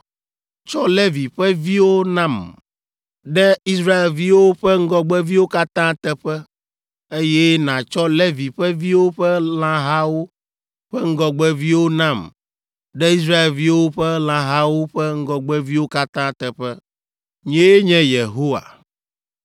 Tsɔ Levi ƒe viwo nam ɖe Israelviwo ƒe ŋgɔgbeviwo katã teƒe, eye nàtsɔ Levi ƒe viwo ƒe lãhawo ƒe ŋgɔgbeviwo nam ɖe Israelviwo ƒe lãhawo ƒe ŋgɔgbeviwo katã teƒe. Nyee nye Yehowa.”